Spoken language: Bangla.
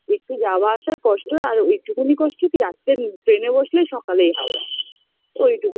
একটু যাওয়া আসার কষ্ট আর ওইটুকুনি কষ্ট কী রাত্রে train -এ বসলে সকালেই হাওড়া